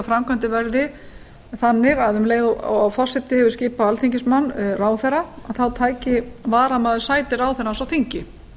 framkvæmdin verði þannig að um leið og forseti hefur skipað alþingismann ráðherra þá taki varamaður ráðherrans sæti hans á þingi